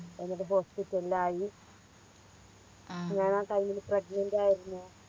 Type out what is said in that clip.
എന്നിട്ട് Hospital ലിൽ ആയി ഞാൻ ആ Time ല് pregnant ആയിരുന്നു